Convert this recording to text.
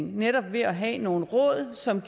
netop ved at have nogle råd som